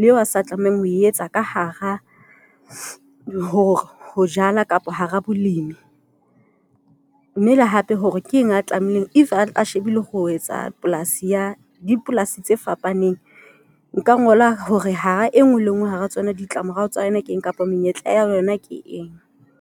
leo a sa tlamehang ho etsa ka hara, hore ho jala kapa hara bolemi mme le hape, le hore ke eng a tlameileng. If a shebile ho etsa polasi ya dipolasi tse fapaneng. Nka ngola hore hara e nngwe le nngwe hara tsona, ditla morao tsa yona, ke eng kapa menyetla ya yona ke eng.